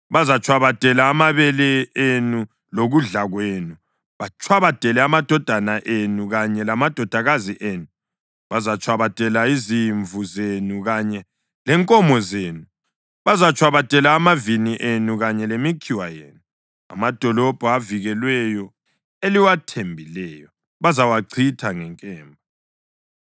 Bazatshwabadela amabele enu lokudla kwenu, batshwabadele amadodana enu kanye lamadodakazi enu, bazatshwabadela izimvu zenu kanye lenkomo zenu, bazatshwabadela amavini enu kanye lemikhiwa yenu. Amadolobho avikelweyo eliwathembileyo bazawachitha ngenkemba.